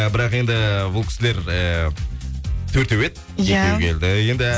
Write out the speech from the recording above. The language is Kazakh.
бірақ енді бұл кісілер э төртеу еді екеуі келді енді